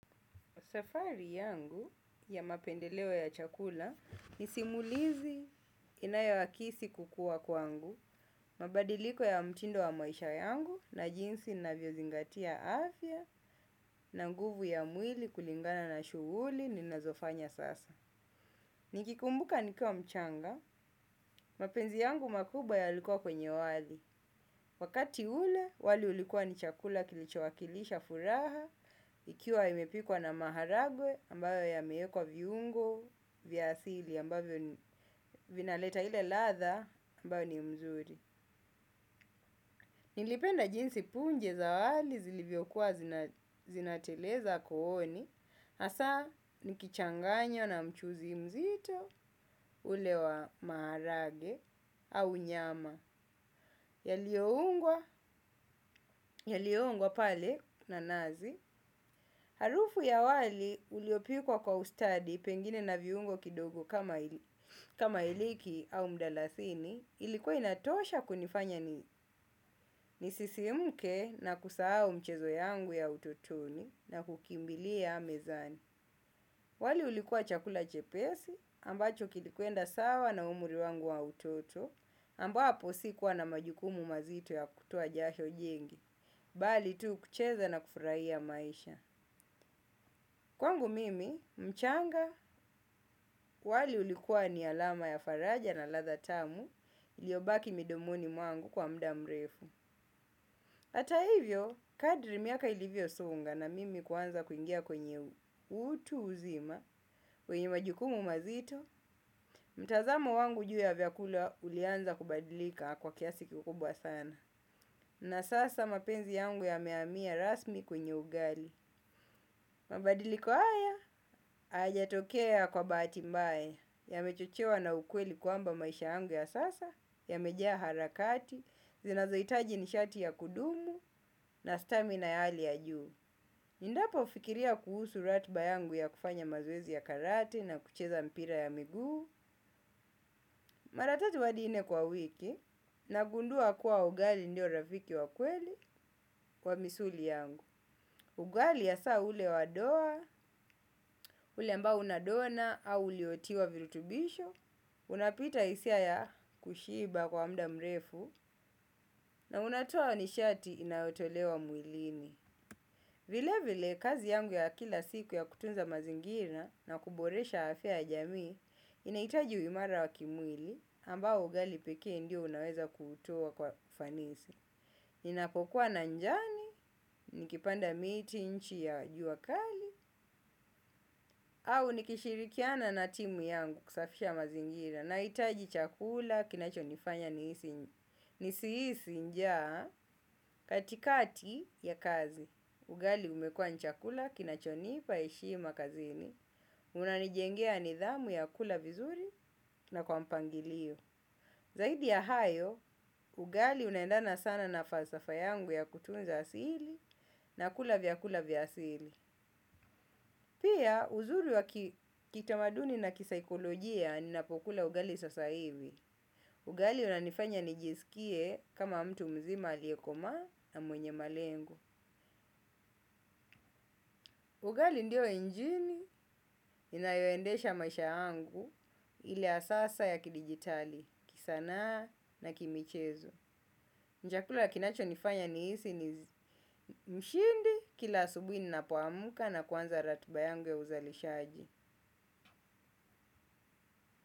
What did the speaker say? Safari yangu ya mapendelewo ya chakula ni simulizi inayowakisi kukua kwangu, mabadiliko ya mtindo wa maisha yangu na jinsi navyozingatia afya na guvu ya mwili kulingana na shuhuli ni nazofanya sasa. Nikikumbuka nikua mchanga, mapenzi yangu makubwa yalikua kwenye wazi. Wakati ule, wali ulikua ni chakula kilicho wakilisha furaha, ikiwa imepikwa na maharagwe ambayo ya meekwa viungo, viasili ambayo vinaleta ile latha ambayo ni mzuri. Nilipenda jinsi punje za wali zilivyo kuwa zinateleza kohoni. Asa nikichanganya na mchuzi mzito ulewa maharage au nyama. Yalioungwa, yalioungwa pale na nazi. Harufu ya wali uliopikwa kwa ustadi pengine na viungo kidogo kama iliki au mdalasini, ilikuwa inatosha kunifanya ni nisisimuke na kusahao mchezo yangu ya utotoni na kukimbili ya mezani. Wali ulikuwa chakula chepesi ambacho kilikuenda sawa na umuri wangu wa utoto ambapo si kuwa na majukumu mazito ya kutuwa jasho jengi, bali tu kucheza na kufraia maisha. Kwangu mimi, mchanga, wali ulikuwa ni alama ya faraja na latha tamu, iliobaki midomoni mwangu kwa mdamrefu. Ata hivyo, kadri miaka ilivyo songa na mimi kuanza kuingia kwenye utu uzima, kwenye majukumu mazito, mtazamo wangu juu ya vyakula ulianza kubadilika kwa kiasi kikubwa sana. Na sasa mapenzi yangu yameamia rasmi kwenye ugali. Mabadiliko haya, ajatokea kwa batimbae. Ya mechochewa na ukweli kuamba maisha yangu ya sasa ya mejea harakati, zinazoitaji nishati ya kudumu na stamina ya ali ya juu. Nindapo fikiria kuhusu ratba yangu ya kufanya mazowezi ya karate na kucheza mpira ya migu maratatu hadi nne kwa wiki na gundua kuwa ugali ndio rafiki wakweli kwa misuli yangu. Ugali yasaa ule wadoa, ule ambao unadona au uliotiwa virutubisho, unapita isia ya kushiba kwa mda mrefu, na unatoa ni shati inaotolewa muilini. Vile vile kazi yangu ya kila siku ya kutunza mazingina na kuboresha afya ya jamii, inahitaji uimara wa kimwili ambao ugali pekee ndio unaweza kutoa kwa ufanisi. Ninapokuwa na njani, nikipanda miti nchi ya jua kali, au nikishirikiana na timu yangu kusafisha mazingira nahitaji chakula kinachonifanya nisihisi njaa katikati ya kazi. Ugali umekuwa ni chakula kinachonipa heshima kazini. Unanijengea nidhamu ya kula vizuri na kwa mpangilio. Zaidi ya hayo, ugali unaendana sana na falsafa yangu ya kutunza asili na kula vyakula vya asili. Pia, uzuri wa kitamaduni na kisaikolojia ninapokula ugali sasa hivi. Ugali unanifanya nijisikie kama mtu mzima aliyekomaa na mwenye malengo. Ugali ndio injini inayoendesha maisha yangu ile ya sasa ya kidijitali, kisanaa na kimichezo. Ni chakula kinachonifanya nihisi ni mshindi kila asubuhi ninapoamka na kuanza ratiba yangu ya uzalishaji.